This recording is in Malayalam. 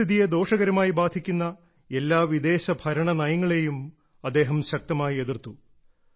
പരിസ്ഥിതിയെ ദോഷകരമായി ബാധിക്കുന്ന എല്ലാ വിദേശ ഭരണ നയങ്ങളെയും അദ്ദേഹം ശക്തമായി എതിർത്തു